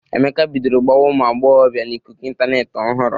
Emeka bidoro gbawa ụmụ agbọghọbịa n'ikuku ịntanetị ọhụrụ.